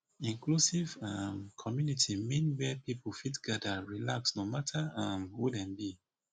inclusive um community mean where pipu fit gather relax no matter um who dem be